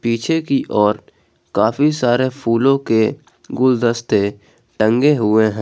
पीछे की ओर काफी सारे फूलों के गुलदस्ते टंगे हुए हैं।